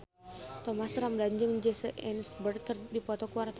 Thomas Ramdhan jeung Jesse Eisenberg keur dipoto ku wartawan